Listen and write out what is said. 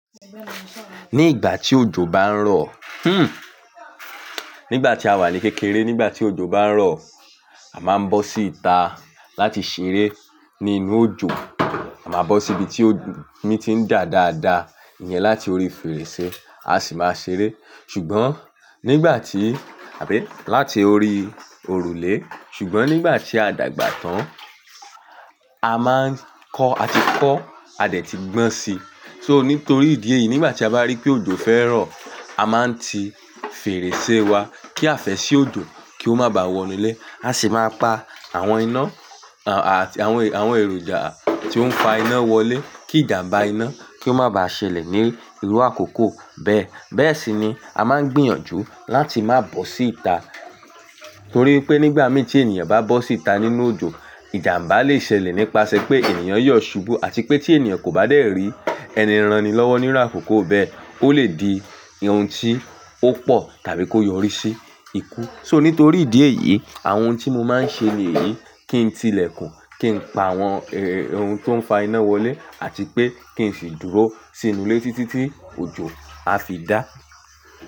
Ní ìgbà tí òjò bá ń rọ̀, nígbà tí a wà ní kékeré, nígbà tí òjò bá ń rọ̀, a máa ń bọ́ sí ita láti ṣeré nínú òjò. A máa bọ́ sí ibi tí omi ti ń dà dáadáa, ìyẹn láti orí fèrèsé, a sì máa ṣeré. Ṣùgbọ́n nígbà tí-- àbí láti orí òrùlé. Ṣùgbọ́n nígbà tí a dàgbà tán, a máa ń kọ́, a ti kọ́, a dẹ̀ ti gbọ́n si. So nítorí ìdí èyí, nígbà tí a bá rí pé òjò fẹ́ rọ̀, a máa ń ti fèrèsé wa, kí àfẹ́sí òjò kí ó má bá wọnú lé, a sì máa pa àwọn iná, àwọn, àwọn èròjà tí ó ń fa iná wọlé, kí ìjàmbá iná kí ó má ba ṣẹlẹ̀ ní irú àkókò bẹ́ẹ̀. Bẹ́ẹ̀ sì ni a máa ń gbìyànjú láti má bọ́ sí ita, torí pé nígbà méjì ẹniyan bá bọ́ sí ita nínú òjò, ìjàmbá le ṣẹlẹ̀ nípasẹ̀ pé ènìyàn yọ̀ ṣubú àti pé tí ènìyàn kò bá dé rí ẹni ranni lọ́wọ́ nírú àkókò bẹ́ẹ̀, ó lè di ohun tí ó pọ̀ tàbí kó yọrí sí ikú. So nítorí ìdí èyí, àwọn ohun tí mo máa ń ṣe ní èyí, kí n ti ilẹ̀kùn, kí n pa àwọn ohun tó ń fa iná wọlé àti pé kí n sì dúró sínú ilé títí tí òjò á fi dà.